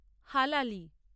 হালালি